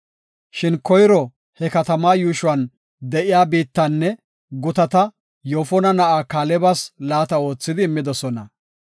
Shin koyro he katama yuushuwan de7iya biittanne gutata Yoofona na7aa Kaalebas laata oothidi immidosona.